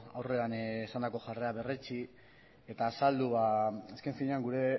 aurrean izandako jarrera berretsi eta azaldu azken finean gure